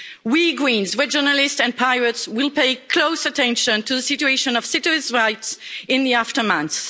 We Greens, regionalists and pirates will pay close attention to the situation of citizens' rights in the aftermath.